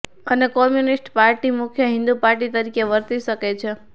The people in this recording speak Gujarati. અને કોમ્યુનિસ્ટ પાર્ટી મુખ્ય હિન્દુ પાર્ટી તરીકે વર્તી શકે છે